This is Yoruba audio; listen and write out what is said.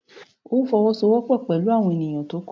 Óò fọwọ́sowọ́pọ̀ pẹ̀lú àwọn ènìyàn tó kù!